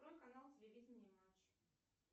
открой канал телевиденье матч